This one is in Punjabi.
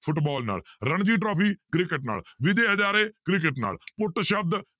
ਫੁੱਟਬਾਲ ਨਾਲ, ਰਣਜੀ ਟਰਾਫ਼ੀ ਕ੍ਰਿਕਟ ਨਾਲ, ਵਿਜੈ ਹਜ਼ਾਰੇ ਕ੍ਰਿਕਟ ਨਾਲ ਪਟ ਸ਼ਬਦ